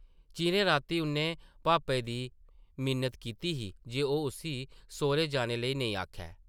चिरें रातीं उʼन्नै भापे दी मिन्नत कीती ही जे ओह् उस्सी सौह्रै जाने लेई नेईं आखै ।